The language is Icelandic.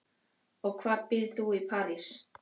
Og hvar býrð þú í París?